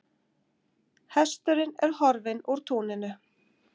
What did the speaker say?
Hesturinn er horfinn úr túninu.